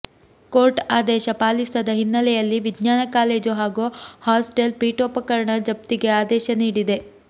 court ಆದೇಶ ಪಾಲಿಸದ ಹಿನ್ನೆಲೆಯಲ್ಲಿ ವಿಜ್ಞಾನ ಕಾಲೇಜು ಹಾಗೂ ಹಾಸ್ಟೆಲ್ ಪೀಠೋಪಕರಣ ಜಫ್ತಿಗೆ ಆದೇಶ ನೀಡಿದೆ